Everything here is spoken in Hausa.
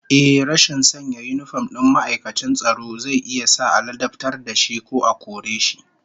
Ehh, rashin sanya yinifom din ma'aikacin tsaro zai iya sa a ladabtar da shi ko a kore shi